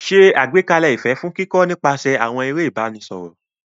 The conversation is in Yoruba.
Ṣe àgbékalẹ̀ ìfẹ́ fún kíkọ́ nípasẹ̀ àwọn eré ìbánisọ̀rọ̀.